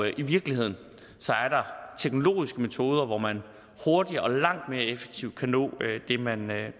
i virkeligheden er der teknologiske metoder hvor man hurtigt og langt mere effektivt kan nå